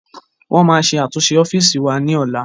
Wọn máa ṣe àtúnṣe ọ́fíìsì wa ní ọ̀la